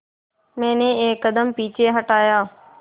मैंने एक कदम पीछे हटाया